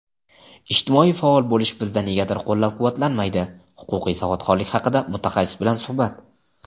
"Ijtimoiy faol bo‘lish bizda negadir qo‘llab-quvvatlanmaydi" –Huquqiy savodxonlik haqida mutaxassis bilan suhbat.